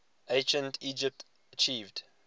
ancient egypt achieved